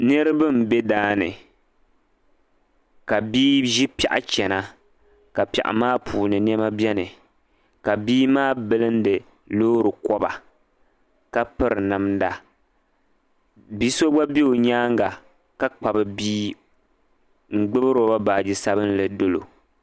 niriba n be daani ka bi'ʒi piɛɣu chana ka piɛɣu maa puuni nɛma be ka bi'maa bɛli di loori kɔba ka piri namda bi'so gba be o nyaaŋa ka Kpabi bii n gbubi roba baagi sabinli dolo.